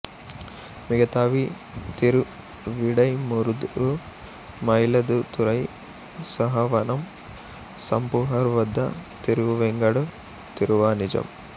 మిగతావి తిరువిడైమురుదూరు మాయిలదుతురై సాయవనం పూంపుహార్ వద్ద తిరువెంగాడు తిరువానిజం